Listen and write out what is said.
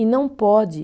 E não pode.